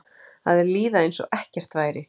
Að líða einsog ekkert væri.